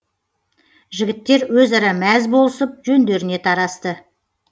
жігіттер өзара мәз болысып жөндеріне тарасты